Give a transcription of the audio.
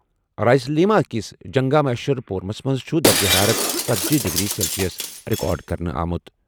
رائلسیما کِس جنٛگا مہیشور پورمَس منٛز چھُ درجہ حرارت ژٔتجی ڈگری سیلسیس رِکارڈ کرنہٕ آمُت۔